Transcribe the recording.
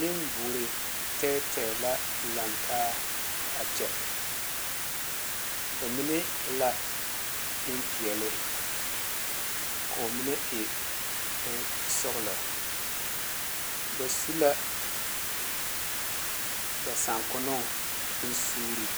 Nenboɔre tɛɛtɛɛ la laŋ taa a kyɛ ba mine e la Nenpeɛle koo mine e nensɔglɔ ba su la ba sankonoo bon suure